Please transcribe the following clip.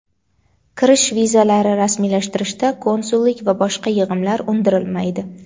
kirish vizalari rasmiylashtirishda konsullik va boshqa yig‘imlar undirilmaydi;.